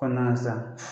Kɔnɔna na sisan